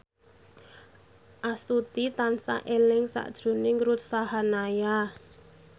Astuti tansah eling sakjroning Ruth Sahanaya